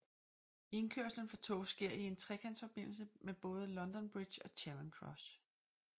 Indkørslen for tog sker i en trekantsforbindelse med både London Bridge og Charing Cross